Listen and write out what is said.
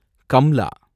Kamla